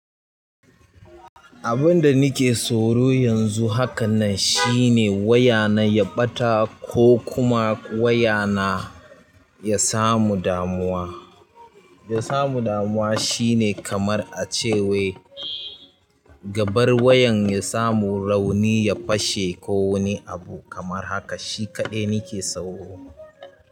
Abin da nake tsoro yanzu haka nan shine waya na ya ɓata ko kuma waya na ya samu damuwa. Ya samu damuwa shine kamar a cewa gabar wayan ya samu rauni ya fashe ko wani abu kamar haka. Shi kaɗai nake soro.